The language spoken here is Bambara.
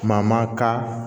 Kuma ma ka